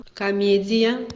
комедия